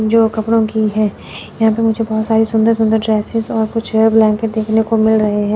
जो कपड़ों की है यहां पे मुझे बहुत सारी सुंदर सुंदर ड्रेसेस और कुछ ब्लैंकेट देखने को मिल रहे हैं।